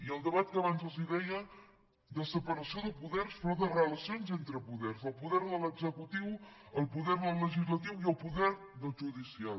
i el debat que abans els deia de separació de poders però de relacions entre poders del poder de l’executiu el poder del legislatiu i el poder del judicial